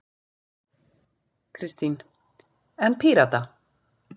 Kristín: En Pírata?